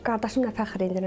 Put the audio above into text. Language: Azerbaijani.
Qardaşımla fəxr edirəm.